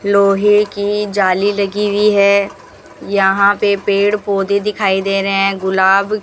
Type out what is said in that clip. लोहे की जाली लगी हुई है यहां पे पेड़ पौधे दिखाई दे रहे हैं गुलाब --